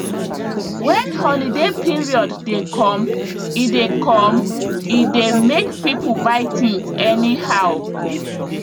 when holiday period dey come e dey come e dey makepoeple buy things anyhow